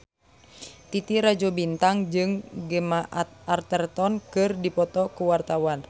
Titi Rajo Bintang jeung Gemma Arterton keur dipoto ku wartawan